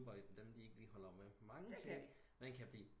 Dem de ikke lige holder manger ting man kan blive